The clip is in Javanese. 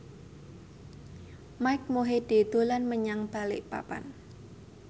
Mike Mohede dolan menyang Balikpapan